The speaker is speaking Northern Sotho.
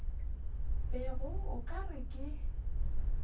bego o ka re ke